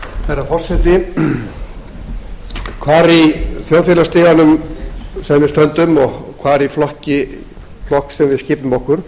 herra forseti hvar í þjóðfélagsstiganum sem við stöndum og hvar í flokk sem við skipum okkur